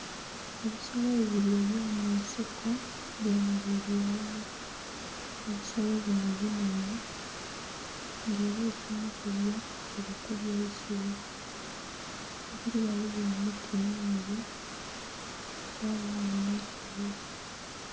Ebisolo bino ebyomunsiko byemeraire ghalala, ebisolo bino binhenhe nga era ekimu kubyo kiri kulya eisubi ghebiri ghaligho emiti mingi ghabagho n'eisubi.